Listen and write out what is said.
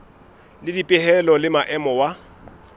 le dipehelo le maemo wa